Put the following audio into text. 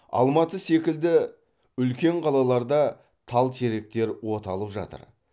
алматы секілді үлкен қалаларда тал теректер оталып жатыр